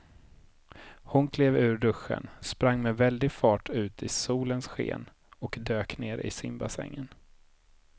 Hon klev ur duschen, sprang med väldig fart ut i solens sken och dök ner i simbassängen.